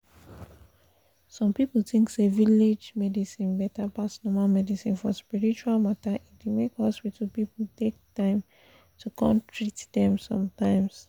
some people think say village medicine better pass normal medicine for spiritual matter e dey make hospital people take time to come treat them sometimes